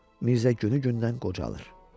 Mirzə günü-gündən qocalır.